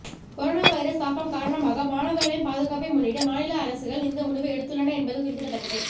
corona virus தாக்கம் காரணமாக மாணவர்களின் பாதுகாப்பை முன்னிட்டு மாநில அரசுகள் இந்த முடிவை எடுத்துள்ளன என்பது குறிப்பிடத்தக்கது